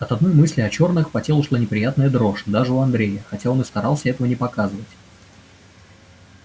от одной мысли о чёрных по телу шла неприятная дрожь даже у андрея хотя он и старался этого не показывать